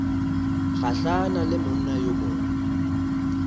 gahlane le monna yo mongwe